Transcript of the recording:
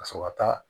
Ka sɔrɔ ka taa